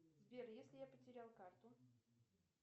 сбер если я потерял карту